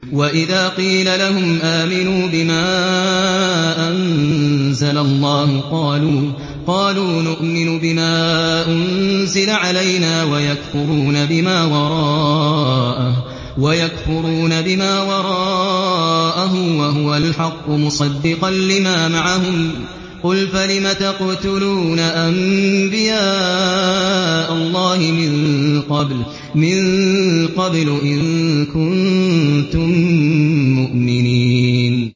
وَإِذَا قِيلَ لَهُمْ آمِنُوا بِمَا أَنزَلَ اللَّهُ قَالُوا نُؤْمِنُ بِمَا أُنزِلَ عَلَيْنَا وَيَكْفُرُونَ بِمَا وَرَاءَهُ وَهُوَ الْحَقُّ مُصَدِّقًا لِّمَا مَعَهُمْ ۗ قُلْ فَلِمَ تَقْتُلُونَ أَنبِيَاءَ اللَّهِ مِن قَبْلُ إِن كُنتُم مُّؤْمِنِينَ